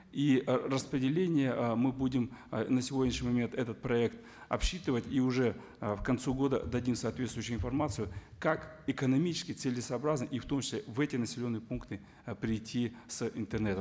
и ы распределение ы мы будем ы на сегодняшний момент этот проект обсчитывать и уже ы к концу года дадим соответсвующию информацию как экономически целесообразно и в том числе в эти населенные пункты ы придти с интернетом